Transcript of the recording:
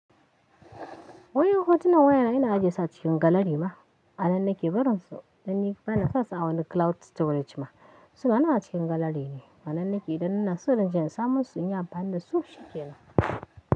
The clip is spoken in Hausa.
Wai hotunan wayana ina ajiye su a cikin gallery ma? A nan nake barin su, dan ni bana fasa a wani cloud storage ma. Suna nan a cikin gallery ne. Anan nake idan ina so in je na samo su in yi amfani dasu shikenan.